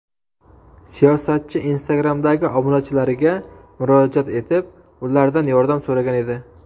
Siyosatchi Instagram’dagi obunachilariga murojaat etib, ulardan yordam so‘ragan edi .